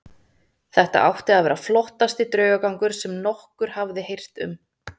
Þetta átti að vera flottasti draugagangur sem nokkur hafði heyrt um.